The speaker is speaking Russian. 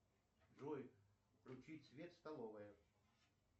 джой включить свет столовая